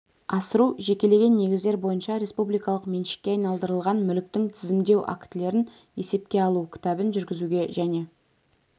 асыру жекелеген негіздер бойынша республикалық меншікке айналдырылған мүліктің тізімдеу актілерін есепке алу кітабын жүргізуге және